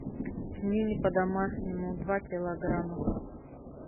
пельмени по домашнему два килограмма